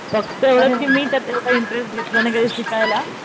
फक्त मी त्यात तेव्हा इंटरेस्ट घेतला नाही शिकायला,